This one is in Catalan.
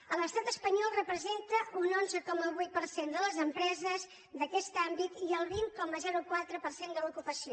a l’estat espanyol representa un onze coma vuit per cent de les empreses d’aquest àmbit i el vint coma quatre per cent de l’ocupació